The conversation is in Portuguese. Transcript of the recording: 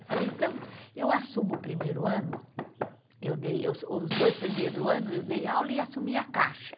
Eu falei, então, eu assumo o primeiro ano, eu dei os dois primeiros anos, eu dei aula e assumi a caixa.